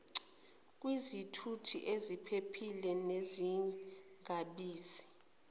kwizithuthi eziphephile nezingabizi